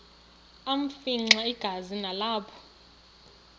afimxa igazi nalapho